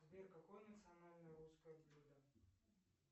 сбер какое национальное русское блюдо